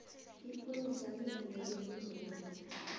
ipholisa livumelekile na